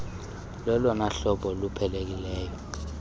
lolona hlobo luqhelekileyo